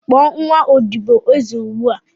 Kpọọ nwa odibo eze ozugbo!